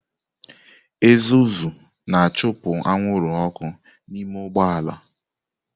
Ezozu na-achụpụ anwụrụ ọkụ n'ime ụgbọ ala.